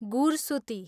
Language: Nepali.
गुरसुती